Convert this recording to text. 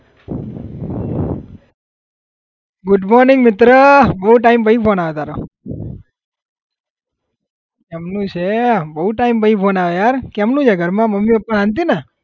Good morning મિત્ર બહુ time પછી phone આયો તારો કેમ નું છે? બહુ time પછી phone આયો યાર કેમ નું છે ઘરમાં મમ્મી પપ્પા શાંતિ ને?